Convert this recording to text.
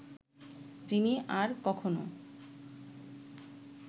যিনি আর কখনো